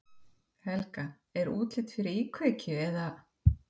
Helga: Er útlit fyrir íkveikju eða?